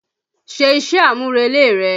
Ṣe iṣẹ́-àmúrelé rẹ!